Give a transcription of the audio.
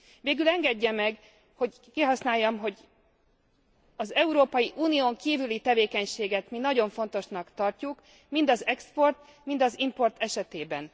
Végül engedje meg, hogy kihasználjam, hogy az Európai Unión kívüli tevékenységet nagyon fontosnak tartjuk mind az export, mind az import esetében.